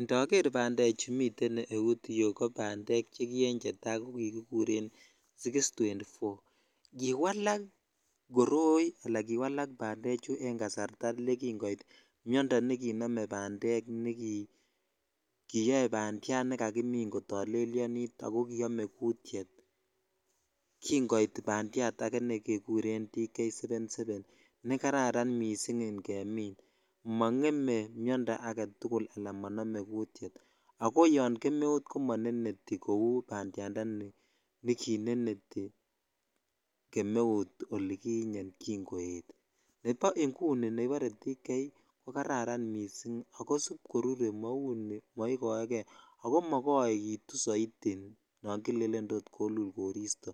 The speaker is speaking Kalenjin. Indoger bandek chu chu miten eut yu ko bandek che ki enetai ko kikuren 624 kiwalak kori ala kiwalk bandechu kin koet miondo ne kinome bandek ne kiyo bandiyat ne kakimin kotolelyonit ako kiome kutyet kin koit batyat age negegure Dk777 ne jkararan missing inngemin mongeme miondo agetuk ala monome jutyet ako yo kemeut ko moneneti joy bandyandanikita kineneti kemeut olikinyenykin koetvne bo inguni neribore Dk777 ko kararan missing ak sibkoruree mau ni moikoekei akko mokoekitu soiti no tot kele elulee koristo